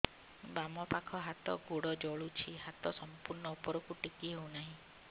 ବାମପାଖ ହାତ ଗୋଡ଼ ଜଳୁଛି ହାତ ସଂପୂର୍ଣ୍ଣ ଉପରକୁ ଟେକି ହେଉନାହିଁ